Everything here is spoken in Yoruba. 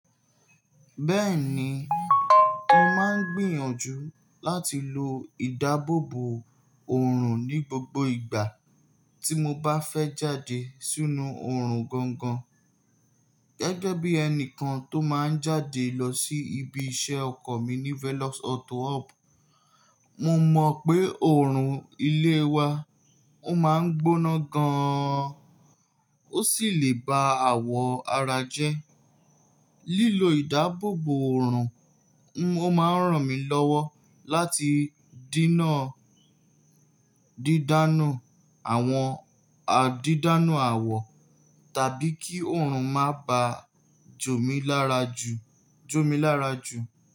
Bẹ́ẹ̀ni, mo máa ń gbìyànjú láti lo ìdáàbòbò òrùn ní gbogbo ìgbà tí mo bá fẹ́ jáde sínú òrùn gangan. Gẹ́gẹ́ bí ẹni kan tó máa ń jáde lọ sí ibi iṣẹ́ ọkọ̀ mi ní Velox Auto Hub, mo mọ̀ pé òrùn ilé wa ó máa ń gbóná gan-an, ó sì lè ba àwọ̀ ara jẹ́. Lílo ìdáàbòbò òrùn, ó máa ń ràn mí lọ́wọ́ láti díná dídánù àwọn àdídánù àwọ̀ tàbí kí òrùn má ba jomilara ju jomilara ju.